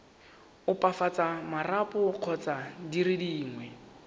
opafatsa marapo kgotsa dire dingwe